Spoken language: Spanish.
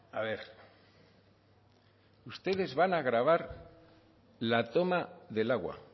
a ver ustedes van a gravar la toma del agua